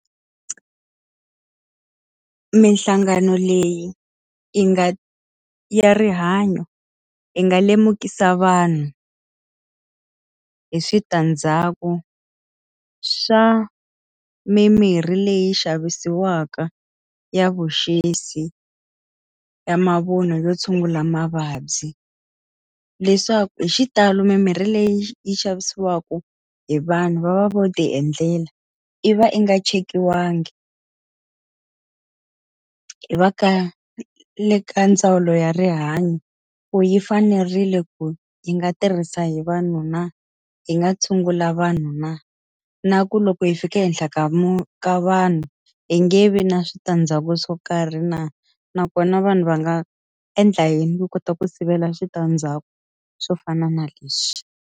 Minhlangano leyi yi nga ya rihanyo yi nga lemukisa vanhu hi switandzhaku swa mimirhi leyi xavisiwaka ya vuxisi ya mavun'wa vo tshungula mavabyi. Leswaku hi xitalo mimirhi leyi yi xavisiwaka hi vanhu va va vo ti endlela, yi va i nga chekiwangi hi va le ka ndzawulo ya rihanyo. Ku yi fanerile ku yi nga tirhisa hi vanhu na? Yi nga tshungula vavanuna na? Na ku loko hi fika ehenhla ka ka vanhu, hi nge vi na switandzhaku swo karhi na nakona vanhu va nga endla yini ku kota ku sivela switandzhaku swo fana na leswi?